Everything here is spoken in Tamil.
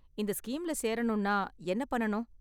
இந்த ஸ்கீம்ல சேரணும்னா என்ன பண்ணனும்?